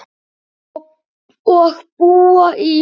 Og búa í